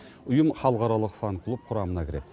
ұйым халықаралық фан клуб құрамына кіреді